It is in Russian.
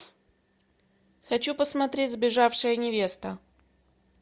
хочу посмотреть сбежавшая невеста